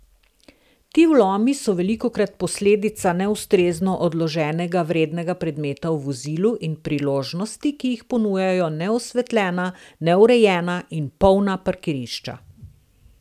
Ti vlomi so velikokrat posledica neustrezno odloženega vrednega predmeta v vozilu in priložnosti, ki jih ponujajo neosvetljena, neurejena in polna parkirišča.